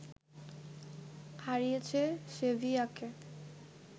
হারিয়েছে সেভিয়াকে